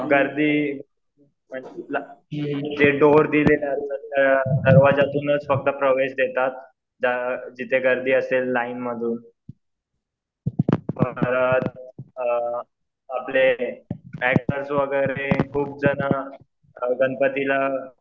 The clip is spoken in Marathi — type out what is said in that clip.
गर्दी दरवाज्यातूनच प्रवेश देतात. जिथे गर्दी असेल लाईनमधून परत अ आपले ऍक्टर्स वगैरे खूप जणं गणपतीला